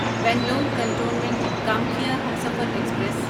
Bangalore cantonment Kamakhya Humsafar express